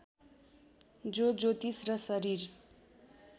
जो ज्योतिष र शरीर